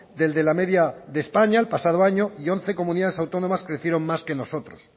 del de la media de españa el pasado año y once comunidades autónomas crecieron más que nosotros